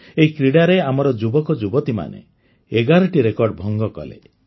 ଏହି କ୍ରୀଡ଼ାରେ ଆମର ଯୁବକଯୁବତୀମାନେ ଏଗାରଟି ରେକର୍ଡ ଭଙ୍ଗ କଲେ